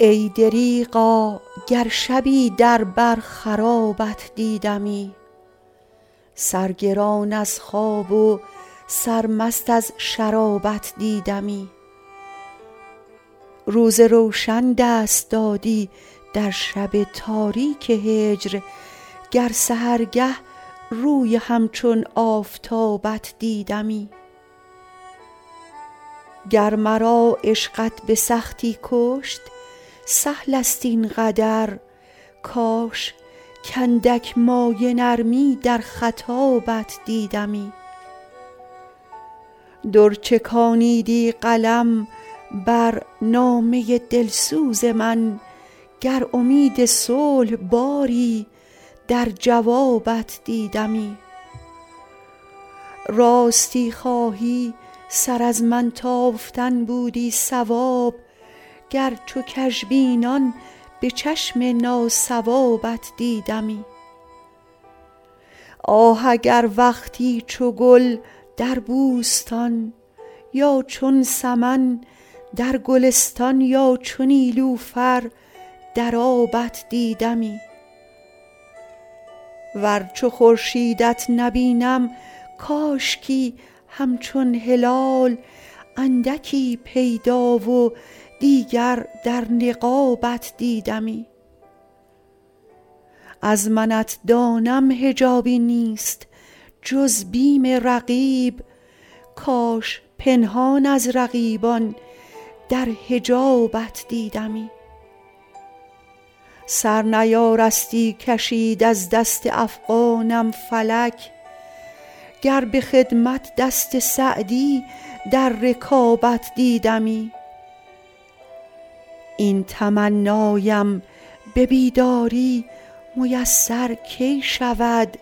ای دریغا گر شبی در بر خرابت دیدمی سرگران از خواب و سرمست از شرابت دیدمی روز روشن دست دادی در شب تاریک هجر گر سحرگه روی همچون آفتابت دیدمی گر مرا عشقت به سختی کشت سهل است این قدر کاش کاندک مایه نرمی در خطابت دیدمی در چکانیدی قلم بر نامه دلسوز من گر امید صلح باری در جوابت دیدمی راستی خواهی سر از من تافتن بودی صواب گر چو کژبینان به چشم ناصوابت دیدمی آه اگر وقتی چو گل در بوستان یا چون سمن در گلستان یا چو نیلوفر در آبت دیدمی ور چو خورشیدت نبینم کاشکی همچون هلال اندکی پیدا و دیگر در نقابت دیدمی از منت دانم حجابی نیست جز بیم رقیب کاش پنهان از رقیبان در حجابت دیدمی سر نیارستی کشید از دست افغانم فلک گر به خدمت دست سعدی در رکابت دیدمی این تمنایم به بیداری میسر کی شود